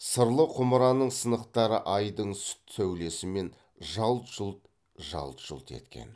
сырлы құмыраның сынықтары айдың сүт сәулесімен жалт жұлт жалт жұлт еткен